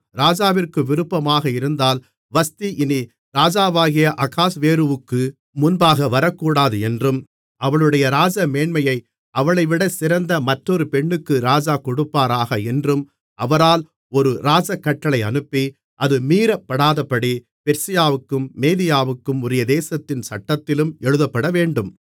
ராஜாவிற்கு விருப்பமாக இருந்தால் வஸ்தி இனி ராஜாவாகிய அகாஸ்வேருவுக்கு முன்பாக வரக்கூடாது என்றும் அவளுடைய ராஜமேன்மையை அவளைவிட சிறந்த மற்றொரு பெண்ணுக்கு ராஜா கொடுப்பாராக என்றும் அவரால் ஒரு ராஜகட்டளை அனுப்பி அது மீறப்படாதபடி பெர்சியாவுக்கும் மேதியாவுக்கும் உரிய தேசத்தின் சட்டத்திலும் எழுதப்படவேண்டும்